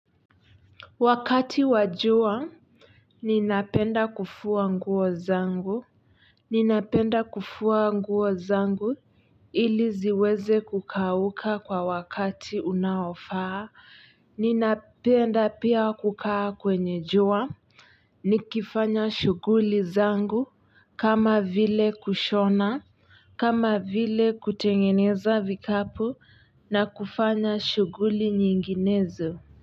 Wakati wa jua ninapenda kufua nguo zangu. Ninapenda kufua nguo zangu, ili ziweze kukauka kwa wakati unaofaa. Ninapenda pia kukaa kwenye jua. Nikifanya shuguli zangu, kama vile kushona. Kama vile kutengeneza vikapu, na kufanya shuguli nyinginezo.